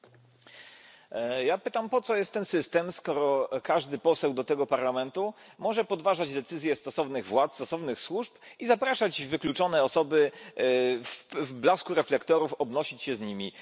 Panie Przewodniczący! Ja pytam, po co jest ten system, skoro każdy poseł do tego Parlamentu może podważać decyzje stosownych władz, stosownych służb i zapraszać wykluczone osoby, w blasku reflektorów obnosić się z nimi.